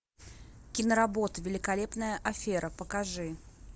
киноработа великолепная афера покажи